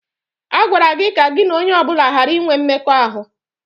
A gwara gị ka gị na onye ọ bụla ghara inwe mmekọahụ!